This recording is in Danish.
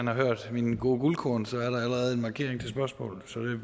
har hørt mine guldkorn er der allerede en markering til spørgsmål så